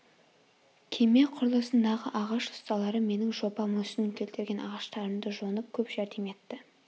кеме құрылысындағы ағаш ұсталары менің жоба мүсінін келтірген ағаштарымды жонып көп жәрдем етті